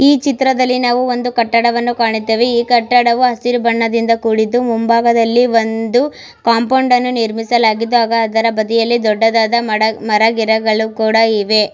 ಈ ಚಿತ್ರದಲ್ಲಿ ನಾವು ಒಂದು ಕಟ್ಟಡವನ್ನು ಕಾಣುತ್ತೇವೆ. ಈ ಕಟ್ಟಡವು ಹಸಿರು ಬಣ್ಣದಿಂದ ಕೂಡಿದ್ದು ಮುಂಭಾಗದಲ್ಲಿ ಒಂದು ಕಾಂಪೋಂಡ್ ಅನ್ನು ನಿರ್ಮಿಸಲಾಗಿದೆ ಹಾಗು ಅದರ ಬದಿಯಲ್ಲಿ ಒಂದು ಮರ ಗಿಡಗಳು ಕೂಡ ಇವೆ.